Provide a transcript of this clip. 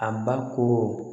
A ba ko